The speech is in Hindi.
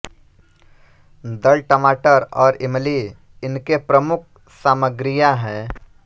दल टमाटर और इमली इनके प्रमुक सामग्रीया है